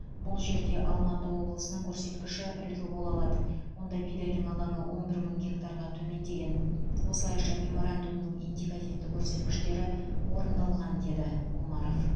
бұл жерде алматы облысының көрсеткіші үлгі бола алады онда бидайдың алаңы он бір мың гектарға төмендеген осылайша меморандумның индикативті көрсеткіштері орындалған деді омаров